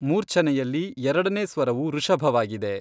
ಮೂರ್ಛನೆಯಲ್ಲಿ ಎರಡನೇ ಸ್ವರವು ಋಷಭವಾಗಿದೆ.